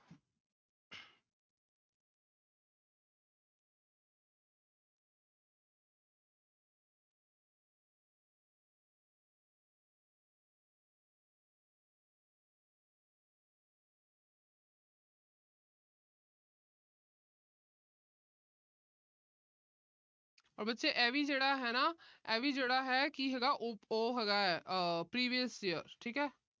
ਬੱਚੇ ਆ ਵੀ ਜਿਹੜਾ ਹੈ ਨਾ ਅਹ ਇਹ ਵੀ ਜਿਹੜਾ ਹੈ ਕਿ ਹੈ ਆਹ ਉਹ ਹੈਗਾ Previous Year ਠੀਕ ਆ।